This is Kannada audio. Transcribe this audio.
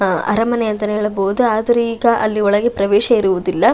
ಅಹ್ ಅರಮನೆ ಅಂತಾನೆ ಹೇಳಬಹುದು ಆದರೆ ಈಗ ಅಲ್ಲಿ ಒಳಗೆ ಪ್ರವೇಶವಿರುವುದಿಲ್ಲ.